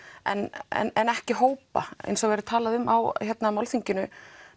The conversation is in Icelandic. en en ekki hópa eins og verður talað um á málþinginu